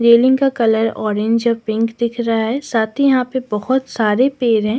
Railing का colour orange और pink दिख रहा है साथ ही यहां पे बहुत सारे पेर हैं।